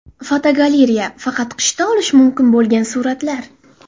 Fotogalereya: Faqat qishda olish mumkin bo‘lgan suratlar.